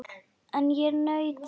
En ég naut þess.